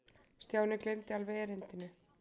Stjáni gleymdi alveg erindinu.